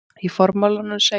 Í formálanum segir